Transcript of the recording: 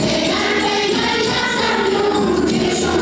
Heydər, Heydər, Kərbəla!